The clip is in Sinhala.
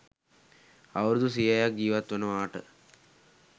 අවුරුදු සියයක් ජීවත් වනවාට